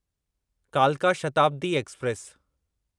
कालका शताब्दी एक्सप्रेस